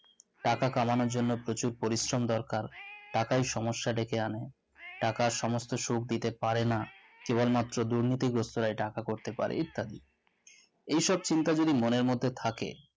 টাকা কামানোর জন্য প্রচুর পরিশ্রম দরকার টাকায় সমস্যা ডেকে আনে টাকা এই সমস্ত সুখ দিতে পারেনা কেবলমাত্র দুর্নীতিগ্রস্তরাই টাকা করতে পারে ইত্যাদি এসব চিন্তা যদি মনের মধ্যে থাকে